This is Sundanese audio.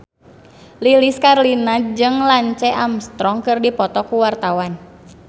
Lilis Karlina jeung Lance Armstrong keur dipoto ku wartawan